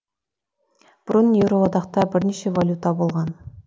бұрын еуроодақта бірнеше валюта болған